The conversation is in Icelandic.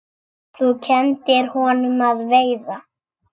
Þú kenndir honum að veiða.